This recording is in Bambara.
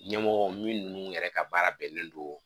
Ɲɛmɔgɔ min ninnu yɛrɛ ka baara bɛnnen don